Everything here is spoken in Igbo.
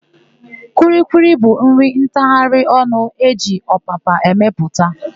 Kwilikwili bụ nri ntagharịonụ e ji ọpapa emepụta.